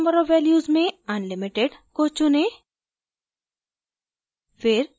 allowed number of values में unlimited को चुनें